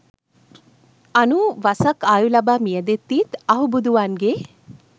අනූවසක් ආයු ලබා මියැදෙද්දීත් අහුබුදුවන්ගේ